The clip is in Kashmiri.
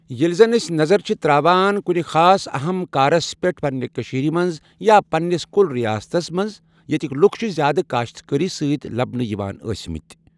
ییٚلہِ زن أسۍ نَظَر چھِ ترٛاوان کُنہِ خاص اہم کارس پٮ۪ٹھ پنٛنہِ کٔشیٖرِ منٛز یا پنٛنس کل ریاستس منٛز ییٚتِکۍ لُکھ چھِ زیادٕ کاشت کٲری سۭتۍ لبنہٕ یوان ٲسۍمٕتۍ۔